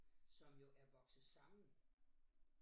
Som jo er vokset sammen